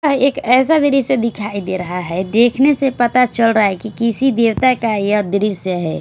यह एक ऐसा दृश्य दिखाई दे रहा है देखने से पता चल रहा है कि किसी देवता का यह दृश्य है।